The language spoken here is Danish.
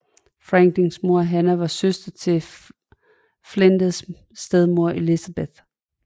Franklins mor Hannah var søster til Flinders stedmor Elizabeth